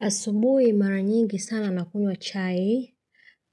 Asubuhi mara nyingi sana nakunywa chai,